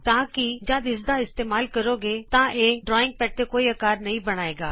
ਤਾਂ ਕਿ ਜਦ ਤੁਸੀਂ ਇਸ ਦਾ ਇਸਤੇਮਾਲ ਕਰੋਗੇ ਤਾਂ ਇਹ ਡਰਾਇੰਗ ਪੈਡ ਤੇ ਕੋਈ ਅਕਾਰ ਨਹੀਂ ਬਣਾਏਗਾ